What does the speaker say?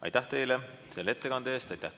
Aitäh teile selle ettekande eest!